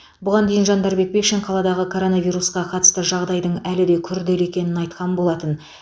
бұған дейін жандарбек бекшин қаладағы коронавирусқа қатысты жағдайдың әлі де күрделі екенін айтқан болатын